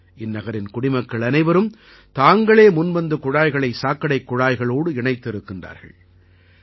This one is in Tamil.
இந்நகரின் குடிமக்கள் அனைவரும் தாங்களே முன்வந்து குழாய்களை சாக்கடைக் குழாய்களோடு இணைத்திருக்கிறார்கள்